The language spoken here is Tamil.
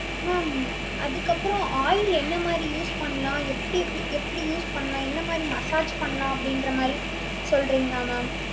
ma'am அதுக்கப்பறம் oil என்ன மாதிரி use பண்ணலாம் எப்படி எப்படி எப்படி use பண்ணலாம். என்ன மாதிரி massage பண்ணலாம் அப்படின்ற மாதிரி சொல்றீங்களா ma'am